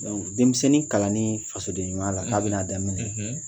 denmisɛnnin kalanni fasodenɲumaya la, , k'a bɛna daminɛ,